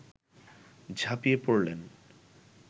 ঝাঁপিয়ে পড়লেন